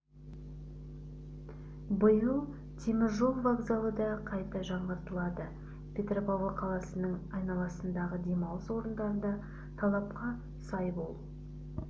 биыл темір жол вокзалы да қайта жаңғыртылады петропавл қаласының айналасындағы демалыс орындары да талапқа сай болу